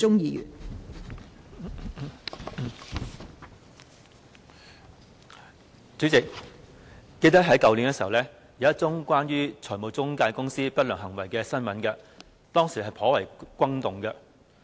代理主席，我記得去年有一宗關於財務中介公司不良行為的新聞，當時亦頗為轟動。